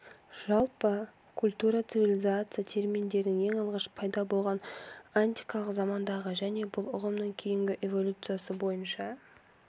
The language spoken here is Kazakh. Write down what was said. жалпы культура цивилизация терминдерінің ең алғаш пайда болған антикалық замандағы және бұл ұғымның кейінгі эволюциясы бойынша